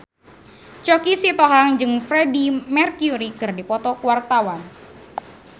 Choky Sitohang jeung Freedie Mercury keur dipoto ku wartawan